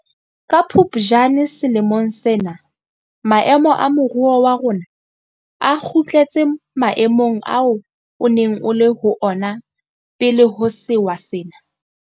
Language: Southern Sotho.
Ka Phuptjane selemong sena maemo a moruo wa rona a kgutletse maemong ao o neng o le ho ona pele ho sewa sena.